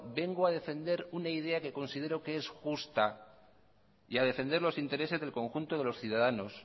vengo a defender una idea que considero que es justa y a defender los intereses del conjunto de los ciudadanos